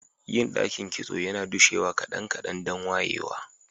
Yin dakin kitso yana dushewa kadan-kadan dan wayewa.